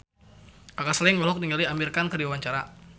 Kaka Slank olohok ningali Amir Khan keur diwawancara